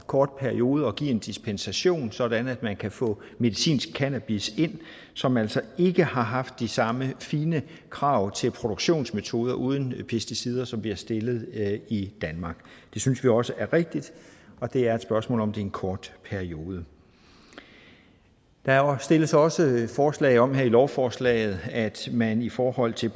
kort periode at give en dispensation sådan at man kan få medicinsk cannabis ind som altså ikke har haft de samme fine krav til produktionsmetoder uden pesticider som vi har stillet i danmark det synes vi også er rigtigt og det er et spørgsmål om en kort periode der stilles også forslag om her i lovforslaget at man i forhold til